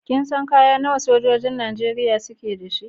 Kin san kaya nawa sojojin Najeriya suke da shi?